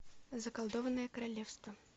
заколдованное королевство